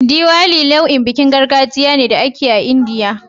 Diwali nau'in bikin gargajiya ne da ake yi a Indiya.